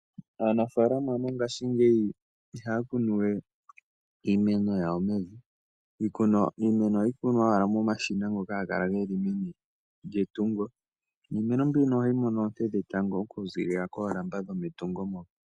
Aanafaalama mongaashingeyi ihaya kunuwe iimeno yawo mevi, ohayi kunwa ashike momashina ngoka haga kala meni lyetungo niimeno mbino ohayi mono oonte dhetango oku ziilila koolamba dhometungo moka.